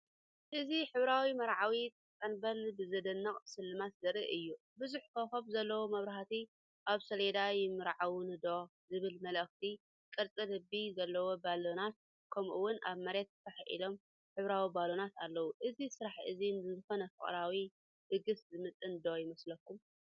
እዚ ሕብራዊ መርዓዊ ጽንብል ብዘደንቕ ስልማት ዘርኢ እዩ። ብዙሕ ኮኾብ ዘለዎ መብራህቲ፡ ኣብ ሰሌዳ"ይምርዓውኒ ዶ"ዝብል መልእኽቲ፡ቅርጺ ልቢ ዘለዎም ባሎናት፡ ከምኡ'ውን ኣብ መሬት ፋሕ ኢሎም ሕብራዊ ባሎናት ኣለዉ። እዚ ስራሕ እዚ ንዝኾነ ፍቕራዊ ድግስ ዝምጥን ዶ ይመስለኩም?